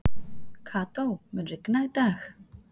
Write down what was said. Kató, mun rigna í dag?